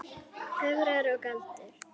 Töfrar og galdur.